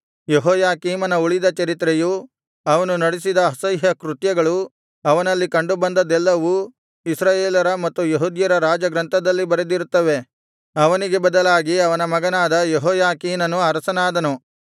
ಯೆಹೋಯಾಕೀಮನ ಉಳಿದ ಚರಿತ್ರೆಯೂ ಅವನು ನಡಿಸಿದ ಅಸಹ್ಯ ಕೃತ್ಯಗಳೂ ಅವನಲ್ಲಿ ಕಂಡುಬಂದದ್ದೆಲ್ಲವೂ ಇಸ್ರಾಯೇಲರ ಮತ್ತು ಯೆಹೂದ್ಯರ ರಾಜ ಗ್ರಂಥದಲ್ಲಿ ಬರೆದಿರುತ್ತವೆ ಅವನಿಗೆ ಬದಲಾಗಿ ಅವನ ಮಗನಾದ ಯೆಹೋಯಾಕೀನನು ಅರಸನಾದನು